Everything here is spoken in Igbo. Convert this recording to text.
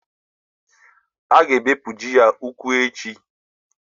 A ga-egbuji ya ụkwụ echi.